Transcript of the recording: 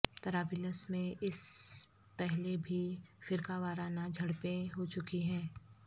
طرابلس میں اس پہلے بھی فرقہ وارانہ جھڑپیں ہو چکی ہیں